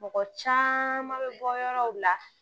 Mɔgɔ caman bɛ bɔ yɔrɔw la